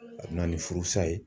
A bɛ na ni furusa ye